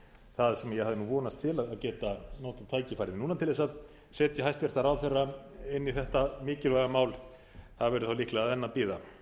það sem ég hafði nú vonast til að geta notað tækifærið núna til þess að setja hæstvirtur ráðherra inn í þetta mikilvæga mál það verður þá líklega enn að bíða en